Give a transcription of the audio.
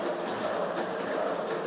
Qarabağ!